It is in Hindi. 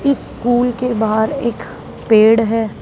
इस फूल के बाहर एक पेड़ है।